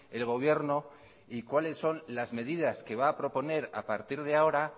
el gobierno y cuáles son las medidas que va a proponer a partir de ahora